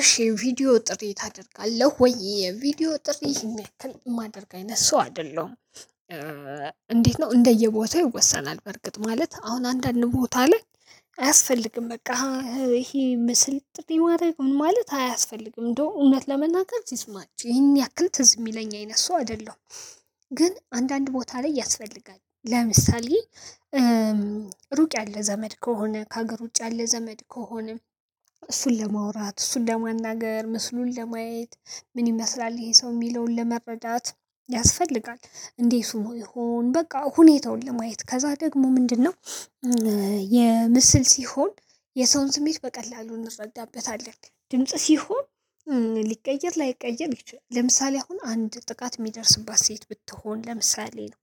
እሺ ቪዲዮ ጥሪ ታደርጋለህ ወይ የቪዲዮ ጥሪ የምያክል የማደርግ አይነት ሰው አይደለሁም። እንዴት? ነው እንደየቦታው ይወሰናል በርግጥ ማለት አሁን አንዳንድ ቦታ ላይ አያስፈልግም። በቃ ይሄ ምስል ጥሪ ማድረግ ምን ማለት አያስፈልግም እንደው እውነት ለመናገር ሲስማችሁ ይሄን ያክል ትዝ የሚለኝ አይነት ሰው አይደለም። ግን አንዳንድ ቦታ ላይ ያስፈልጋል ለምሳሌ ሩቅ ያለ ዘመድ ከሆነ ከሀገር ውጭ ያለ ዘመድ ከሆነ እሱን ለማውራት እሱን ለማናገር ምስሉን ለማየት ምን ይመስላል ይሄ ሰው የሚለውን ለመረዳት ያስፈልጋል። እንዴ ሆኖ ይሆን በቃ ሁኔታውን ለማየት ከዛ ደግሞ ምንድነው? የምስል ሲሆን የሰውን ስሜት በቀላሉ እንረዳበታለን። ድምጽ ሲሆን ሊቀየር ላይቀየር ይችላል። ለምሳሌ አሁን አንድ ጥቃት የሚደርስባት ሴት ብትሆን ለምሳሌ ነው።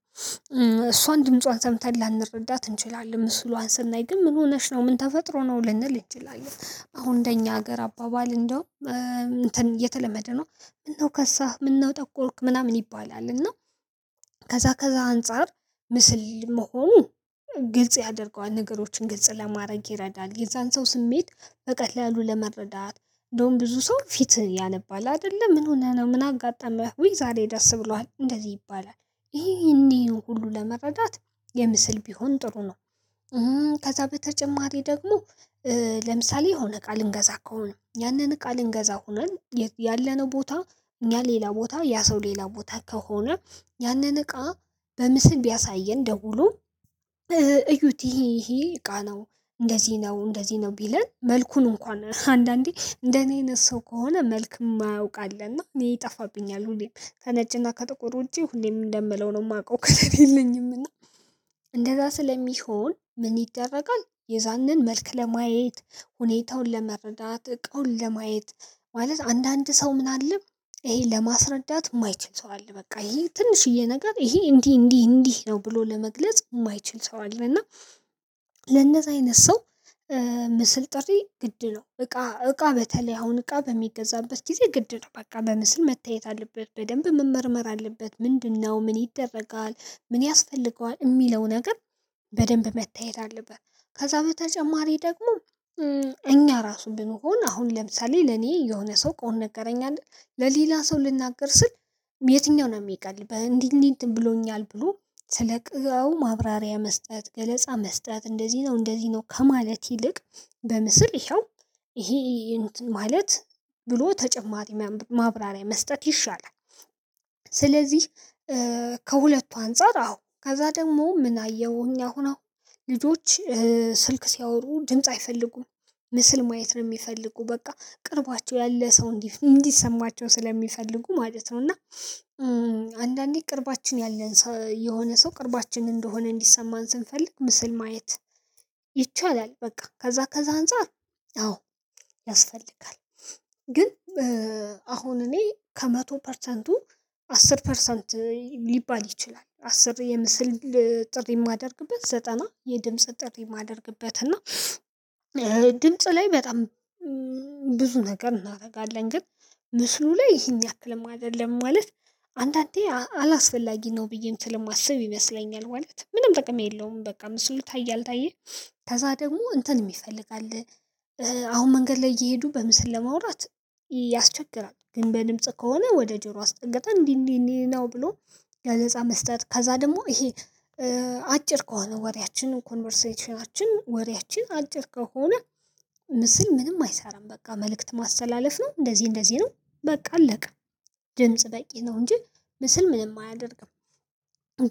እሷን ድምጿን ሰምተን ላንረዳት እንችላለን ምስሏን ስናይ ግን ምን ሆነሽ ነው ምን ተፈጥሮ ነው ልንል እንችላለን። አሁን እንደኛ ሀገር አባባል እንደው እንትን የተለመደ ነው። ምነው ከሳህ ምነው ጠቆርክ ምናምን ይባላል። እና ከዛ ከዛ አንፃር ምስል መሆኑ ግልጽ ያደርገዋል ነገሮችን ግልጽ ለማድረግ ይረዳል። የዛን ሰው ስሜት በቀላሉ ለመረዳት እንደውም ብዙ ሰው ፊት ያነባል። አይደለ ምን ሆነህ ነው ምን አጋጠመህ ውይ ዛሬ ደስ ብሎሃል እንደዚህ ይባላል። ይሄን ይህን ሁሉ ለመረዳት የምስል ቢሆን ጥሩ ነው። ከዛ በተጨማሪ ደግሞ ለምሳሌ የሆነ እቃ ልንገዛ ከሆነ ያንን እቃ ልንገዛ ሆነን ያለነው ቦታ እኛ ሌላ ቦታ ያ ሰው ሌላ ቦታ ከሆነ ያንን እቃ በምስል ቢያሳየን ደውሎ እዩት ይሄ ይሄ እቃ ነው። እንደዚህ ነው እንደዚህ ነው ቢለን መልኩን እንኳን አንዳንዴ እንደኔ አይነት ሰው ከሆነ መልክ የማያውቅ አለና እኔ ይጠፋብኛል ሁሌም ከነጭና ከጥቁር ውጪ ሁሌም እንደምለው ነው የማውቀው ከለር የለኝም እና። እንደዛ ስለሚሆን ምን ይደረጋል? የዛንን መልክ ለማየት ሁኔታውን ለመረዳት እቃውን ለማየት ማለት አንዳንድ ሰው ምን አለ? ይሄን ለማስረዳት የማይችል ሰው አለ። በቃ ይሄ ትንሽዬ ነገር ይሄ እንዲህ እንዲህ እንዲህ ነው ብሎ ለመግለጽ የማይችል ሰው አለ። እና ለነዛ አይነት ሰው ምስል ጥሪ ግድ ነው። እቃ እቃ በተለይ አሁን እቃ በሚገዛበት ጊዜ ግድ ነው በቃ በምስል መታየት አለበት። በደንብ መመርመር አለበት ምንድነው? ምን ይደረጋል ምን ያስፈልገዋል የሚለው ነገር በደንብ መታየት አለበት። ከዛ በተጨማሪ ደግሞ እኛ ራሱ ብንሆን አሁን ለምሳሌ ለኔ የሆነ ሰው እቃውን ነገረኝ አይደል ለሌላ ሰው ልናገር ስል። የትኛው ነው? የምቀል በእንዲህ እንዲህ እንትን ብሎኛል ብሎ ስለ እቃው ማብራሪያ መስጠት ገለጻ መስጠት እንደዚህ ነው እንደዚህ ነው ከማለት ይልቅ በምስል ይኸው ይሄ ማለት ብሎ ተጨማሪ ማብራሪያ መስጠት ይሻላል። ስለዚህ ከሁለቱ አንፃር አዎ ከዛ ደግሞ ምን አየሁኝ አሁን አሁን ልጆች ስልክ ሲያወሩ ድምጽ አይፈልጉም። ምስል ማየት ነው የሚፈልጉት በቃ ቅርባቸው ያለ ሰው እንዲ እንዲሰማቸው ስለሚፈልጉ ማለት ነው። እና አንዳንዴ ቅርባችን ያለን ሰው የሆነ ሰው ቅርባችን እንደሆነ እንዲሰማን ስንፈልግ ምስል ማየት ይቻላል። በቃ ከዛ ከዛ አንፃር አዎ ያስፈልጋል። ግን አሁን እኔ ከመቶ ፐርሰንቱ አስር ፐርሰንት ሊባል ይችላል። አስር የምስል ጥሪ የማደርግበት ዘጠና የድምጽ ጥሪ የማደርግበት እና ድምጽ ላይ በጣም ብዙ ነገር እናደርጋለን። ግን ምስሉ ላይ ይሄን ያክልም አይደለም። ማለት አንዳንዴ አላስፈላጊ ነው ብዬም ስለማስብ ይመስለኛል ማለት ምንም ጥቅም የለውም። በቃ ምስሉ ታየ አልታየም ከዛ ደግሞ እንትንም ይፈልጋል። አሁን መንገድ ላይ እየሄዱ በምስል ለማውራት ያስቸግራል። ግን በድምጽ ከሆነ ወደ ጆሮ አስጠግተን እንዲህ እንዲህ እንዲህ ነው ብሎ ገለፃ መስጠት ከዛ ደግሞ ይሄ አ አጭር ከሆነ ወሬያችን ኮንቨርሴሽናችን ወሪያችን አጭር ከሆነ ምስል ምንም አይሰራም። በቃ መልእክት ማስተላለፍ ነው እንደዚህ እንደዚህ ነው በቃ አለቀ። ድምጽ በቂ ነው። እንጂ ምስል ምንም አያደርግም።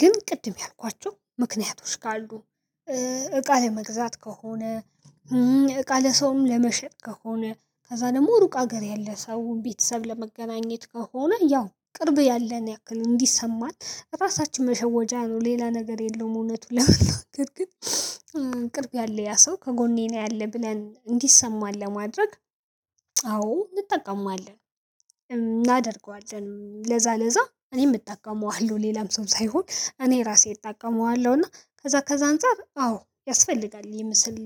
ግን ቅድም ያልኳቸው ምክንያቶች ካሉ እቃ ለመግዛት ከሆነ እቃ ለሰውም ለመሸጥ ከሆነ ከዛ ደግሞ ሩቅ ሀገር ያለ ሰው ቤተሰብ ለመገናኘት ከሆነ ያው ቅርብ ያለን ያክል እንዲሰማን ራሳችንን መሸወጃ ነው። ሌላ ነገር የለውም። እውነቱን ለመናገር ግን ቅርብ ያለ ያ ሰው ከጎኔ ነው ያለ ብለን እንዲሰማን ለማድረግ አዎ እንጠቀመዋለን። እናደርገዋለን ለዛ ለዛ እኔም እጠቀመዋለሁ ሌላም ሰው ሳይሆን እኔ ራሴ እጠቀመዋለሁ እና ከዛ ከዛ አንፃር አዎ ያስፈልጋል። የምስል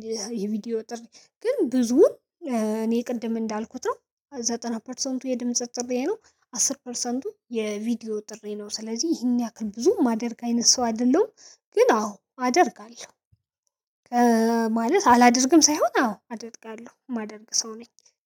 የቪዲዮ ጥሪ ግን ብዙውን እኔ ቅድም እንዳልኩት ነው። ዘጠና ፐርሰንቱ የድምጽ ጥሪዬ ነው። አስር ፐርሰንቱ የቪዲዮ ጥሪዬ ነው ስለዚህ ይህን ያክል ብዙ የማደርግ ሰው አይደለሁም። ግን አዎ አደርጋለሁ። ማለት አላደርግም ሳይሆን አዎ አደርጋለሁ የማደርግ ሰው ነኝ።